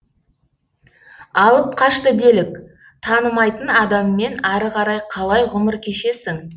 алып қашты делік танымайтын адаммен ары қарай қалай ғұмыр кешесің